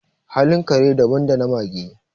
halin kare daban da na mage